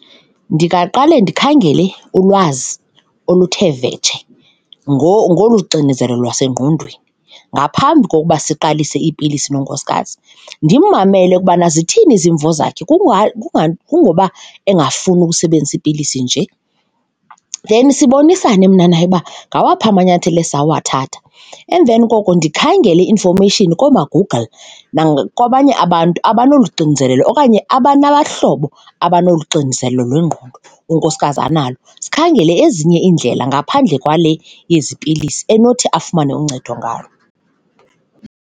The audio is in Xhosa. Ndingaqale ndikhangele ulwazi oluthe vetshe ngolu xinezelelo lwasengqondweni ngaphambi kokuba siqalise iipilisi nonkosikazi. Ndimmamele ukubana zithini izimvo zakhe kungoba engafuni ukusebenzisa iipilisi nje, then sibonisane mna naye uba ngawaphi amanyathelo esisawathatha. Emveni koko ndikhangele i-information koomaGoogle nakwabanye abantu abanolu xinzelelo okanye aba nabahlobo abanolu xinzelelo lwengqondo unkosikazi analo, sikhangele ezinye iindlela ngaphandle kwale yezi pilisi enothi afumane uncedo ngalo.